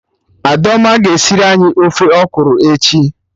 Adaoma ga-esiri anyị ofe ọkwụrụ echi